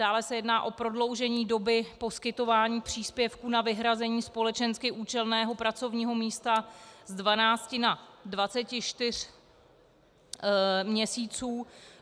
Dále se jedná o prodloužení doby poskytování příspěvků na vyhrazení společensky účelného pracovního místa z 12 na 24 měsíců.